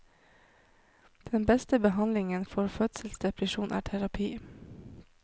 Den beste behandlingen for fødselsdepresjon er terapi.